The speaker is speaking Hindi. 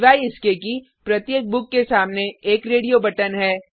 सिवाय इसके कि प्रत्येक बुक के सामने एक रेडियो बटन है